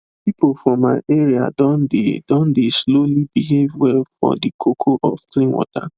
people for my area don dey don dey slowly behave well for the koko of clean water